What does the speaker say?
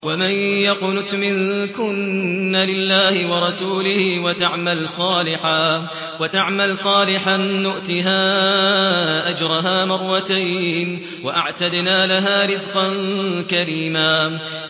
۞ وَمَن يَقْنُتْ مِنكُنَّ لِلَّهِ وَرَسُولِهِ وَتَعْمَلْ صَالِحًا نُّؤْتِهَا أَجْرَهَا مَرَّتَيْنِ وَأَعْتَدْنَا لَهَا رِزْقًا كَرِيمًا